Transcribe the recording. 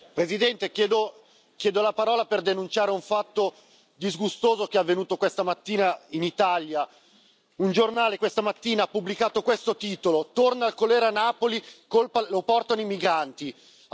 Signora Presidente, onorevoli colleghi, chiedo la parola per denunciare un fatto disgustoso che è avvenuto questa mattina in Italia. Un giornale, questa mattina, ha pubblicato questo titolo Torna il colera a Napoli, lo portano i migranti.